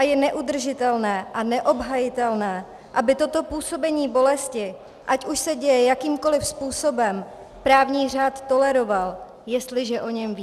A je neudržitelné a neobhajitelné, aby toto působení bolesti, ať už se děje jakýmkoli způsobem, právní řád toleroval, jestliže o něm ví.